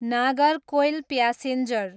Nagercoil passenger